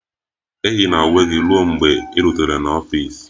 Eyila uwe gị ruo mgbe ị rutere n'ọfịs!